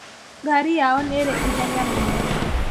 Ngari yao nĩrĩ ihenya mũno